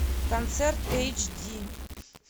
концерт эйч ди